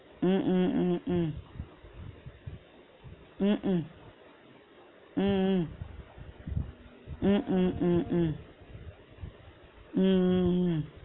உம் உம் உம் உம் உம் உம் உம் உம் உம் உம் உம் உம் உம் உம் உம்